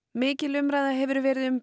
mikil umræða hefur verið um